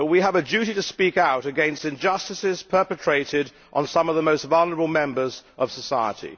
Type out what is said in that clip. but we have a duty to speak out against injustices perpetrated on some of the most vulnerable members of society.